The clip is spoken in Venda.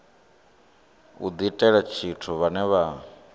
u diitela tshithu vhane vha